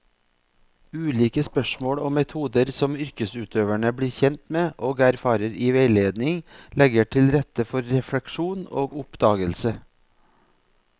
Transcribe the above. Ulike spørsmål og metoder som yrkesutøverne blir kjent med og erfarer i veiledning, legger til rette for refleksjon og oppdagelse.